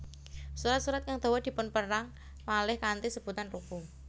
Surat surat kang dawa dipunperang malih kanthi sebutan ruku